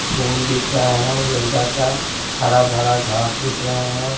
फूल दिख रहा हैगेंदा का हरा भरा घास दिख रहा है।